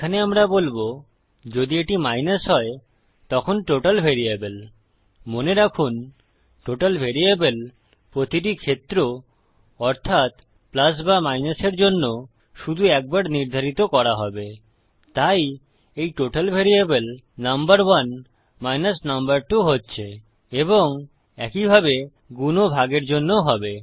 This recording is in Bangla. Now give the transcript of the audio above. এখানে আমরা বলবো যদি এটি মাইনাস হয় তখন টোটাল ভ্যারিয়েবল মনে রাখুন টোটাল ভ্যারিয়েবল প্রতিটি ক্ষেত্র অর্থাত প্লাস বা মাইনাস এর জন্য শুধু একবার নির্ধারিত করা হবে তাই এই টোটাল ভ্যারিয়েবল নাম্বার1 number2 হচ্ছে এবং একইভাবে গুন ও ভাগের জন্যও হবে